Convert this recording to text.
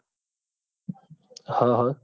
હા હા